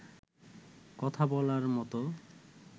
কথা বলার মতো